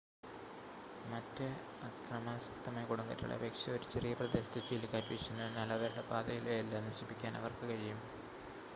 മറ്റ് അക്രമാസക്തമായ കൊടുങ്കാറ്റുകളെ അപേക്ഷിച്ച് ഒരു ചെറിയ പ്രദേശത്ത് ചുഴലിക്കാറ്റ് വീശുന്നു എന്നാൽ അവരുടെ പാതയിലെ എല്ലാം നശിപ്പിക്കാൻ അവർക്ക് കഴിയും